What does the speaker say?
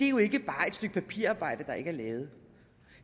er jo ikke bare et stykke papirarbejde der ikke er lavet